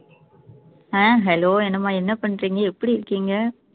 அஹ் hello என்னம்மா என்ன பண்றீங்க எப்படி இருக்கீங்க